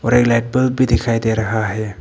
Light bulb भी दिखाई दे रहा है।